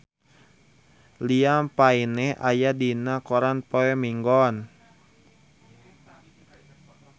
Liam Payne aya dina koran poe Minggon